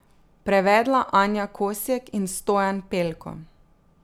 Prevedla Anja Kosjek in Stojan Pelko.